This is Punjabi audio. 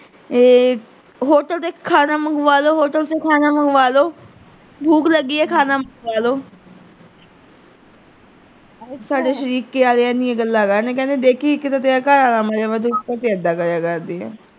ਹੋਟਲ ਦੇ ਵਿੱਚੋਂ ਖਾਣਾ ਮੰਗਵਾ ਲੋ, ਹੋਟਲ ਚੋਂ ਖਾਣਾ ਮੰਗਾ ਲੋ, ਭੂਖ ਲਗੀ ਐ, ਖਾਣਾ ਮੰਗਾ ਲੋ ਸਾਰੇ ਸ਼ਰੀਕੇ ਆਲੇ ਇੰਨੀਆਂ ਗੱਲਾਂ ਕਰਨ ਕਹਿੰਦੇ ਦੇਖੀਂ ਇੱਕ ਤੇ ਤੇਰਾ ਘਰ ਆਲਾ ਮਰਿਆ ਵਿਆ ਤੇ ਉੱਤੋਂ ਤੂੰ ਐਦਾਂ ਕਰਿਆ ਕਰਦੀ ਆਂ।